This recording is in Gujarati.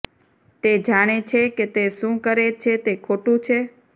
તે જાણે છે કે તે શું કરે છે તે ખોટું છે